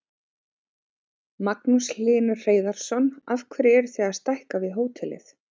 Magnús Hlynur Hreiðarsson: Af hverju eruð þið að stækka við hótelið?